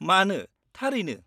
-मानो थारैनो।